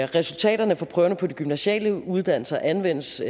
resultaterne for prøverne på de gymnasiale uddannelser anvendes